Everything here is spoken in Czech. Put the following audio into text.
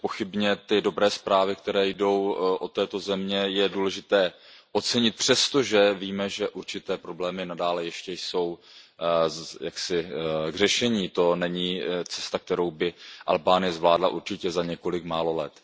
Nepochybně ty dobré zprávy, které jdou z této země, je důležité ocenit, přestože víme, že určité problémy nadále ještě jsou k řešení, to není cesta, kterou by Albánie zvládla určitě za několik málo let.